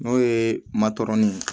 N'o ye matɔrɔni